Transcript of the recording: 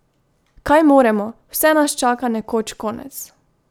Kaj moremo, vse nas čaka nekoč konec!